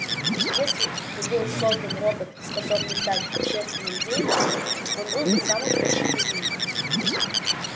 если бы был создан робот способный стать общественным деятелем он был бы самым лучшим из них